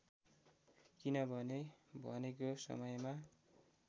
किनभने भनेको समयमा